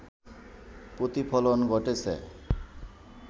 প্রতিফলন ঘটেছে